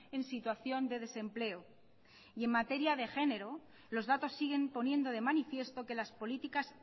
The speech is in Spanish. en situación de desempleo y en materia de género los datos siguen poniendo de manifiesto que las políticas